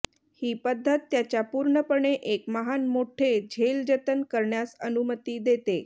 ही पद्धत त्याच्या पूर्णपणे एक महान मोठे झेल जतन करण्यास अनुमती देते